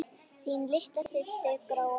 Þín litla systir, Gróa María.